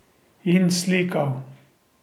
In slikal.